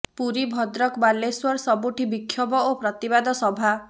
ପୁରୀ ଭଦ୍ରକ ବାଲେଶ୍ୱର ସବୁଠି ବିକ୍ଷୋଭ ଓ ପ୍ରତିବାଦ ସଭା